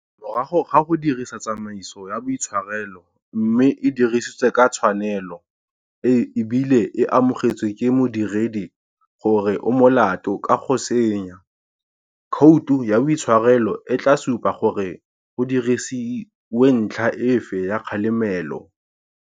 Morago ga go dirisa tsamaiso ya boitshwarelo mme e dirisitswe ka tshwanelo e bile e amogetswe ke modiredi gore o molato ka go senya, khoute ya boitshwarelo e tla supa gore go dirisiwentlha efe ya kgalemelo.